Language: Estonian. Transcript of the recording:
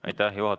Aitäh!